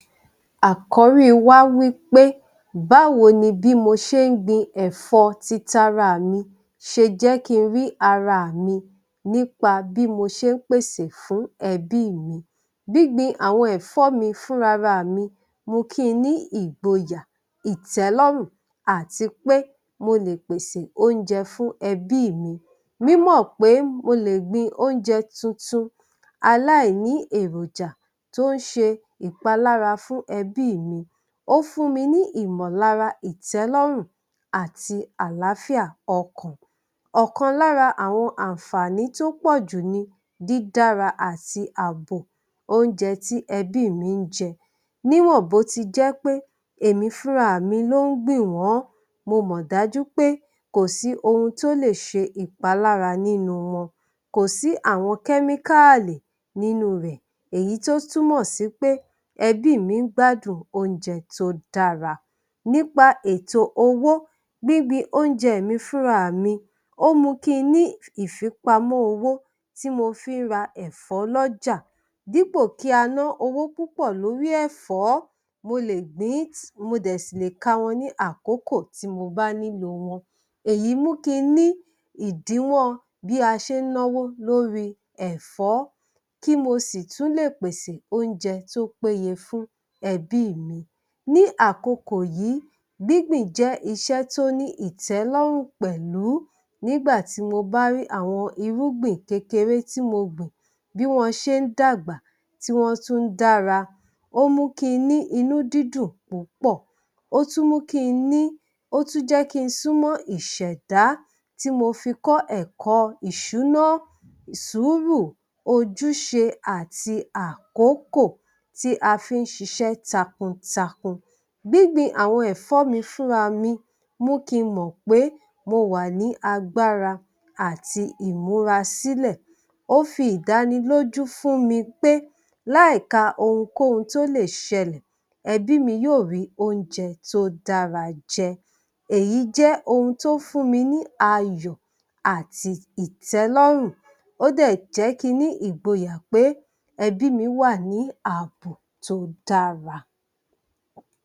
Àkọ́rí wa wí pé, báwo ni bí mo ṣe ń gbin ẹ̀fọ́ ti tara à mi, ṣe jẹ́ kí n rí ara mi nípa bí mo ṣe ń pèsè fún ẹ̀bí mi. Gbingbin àwọn ẹ̀fọ́ mi fúnra ra mi mú kí n ní ìgboyà, ìtẹ́lọ́rùn àti pé mo lè pèsè oúnjẹ fún ẹbí mi. Mímọ̀ pé mo lè gbin oúnjẹ tuntun aláìní èròjà tó ń ṣe ìpalára fún ẹbí mi, ó fún mi ní ìmọ̀lára, ìtẹ́lọ́rùn àti àlàáfíà ọkàn. Ọ̀kan lára àwọn àǹfààní tó pọ̀jù ni; dídára àti ààbò oúnjẹ tí ẹbí mi ń jẹ. Níwọ̀n bó ti jẹ́ pé èmi fúnra mi ló ń gbìn wọ́n, mo mọ̀ dájú pé kò sí ohun tó lè ṣe ìpalára nínú wọn. Kò sí àwọn kẹ́míkáàlì nínú rẹ̀, èyí tó túnmọ̀ sí pé ẹbí mi ń gbádùn oúnjẹ tó dára. Nípa ètò owó, gbígbin oúnjẹ mi fúnra mi, ó mú kí n ní ìfipamọ́ owó tí mo fi ń ra ẹ̀fọ́ lọ́ja. Dípò kí a ná owó púpọ̀ lórí ẹ̀fọ́, mo lè gbìn-ín, mo dẹ̀ ṣì lè ká wọn ní àkókò tí mo bá nílò wọn. Èyí mú kí n ní ìdínwọ́n bí a ṣe ń náwó lórí ẹ̀fọ́, kí mo sì tún lè pèsè oúnjẹ tó péye fún ẹbí mi. Ní àkokò yìí, gbígbìn jẹ́ iṣẹ́ tó ní ìtẹ́lọ́rùn pẹ̀lú nígbà tí mo bá rí àwọn irúgbìn kékeré tí mo gbìn, bí wọn ṣe ń dàgbà, tí wọ́n tún ń dára, ó mú kí n ní inúdídùn púpọ̀, ó tún mú kí n ní, ó tún jẹ́ kí n súnmọ́ ìṣẹ̀dá tí mo fi kọ́ ẹ̀kọ́ ìṣúná, sùúrù, ojúṣe àti àkókò tí a fi ń ṣiṣẹ́ takuntakun. Gbíngbin àwọn ẹ̀fọ́ mi fúnra mi mú kí n mọ̀ pé mo wà ní agbára àti ìmúrasílẹ̀. Ó fi ìdánilójú fún mi pé láì ka ohunkóhun tó lè ṣẹlẹ̀, ẹbí mi yóò rí oúnjẹ tó dára jẹ. Èyí jẹ ohun tó fún mi ní ayọ̀ àti ìtẹ́lọ́rùn, ó dẹ̀ jẹ́ kí n ní ìgboyà pé ẹbí mi wà ní ààbò tó dára.